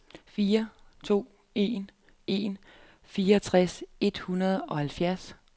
fire to en en fireogtredive et hundrede og enoghalvtreds